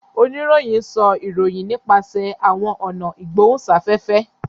Oníròhìn sọ ìròyìn nipasẹ àwọn ọnà igbohunsafẹfẹ